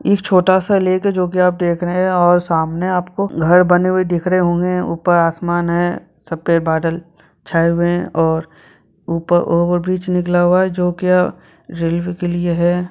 एक छोटा सा लेक है जो कि आप देख रहे हैं और सामने आपको घर बने हुए दिख रहे होंगे ऊपर आसमान है सफेद बादल छाए हुए हैं और ऊपर और बीच निकला हुआ है जो कि ये रेलवे के लिए है।